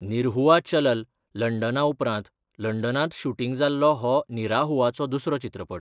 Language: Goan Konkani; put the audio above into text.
निरहुआ चलल लंडना उपरांत लंडनांत शुटींग जाल्लो हो निराहुआचो दुसरो चित्रपट.